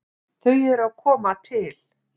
Þau eru að koma til.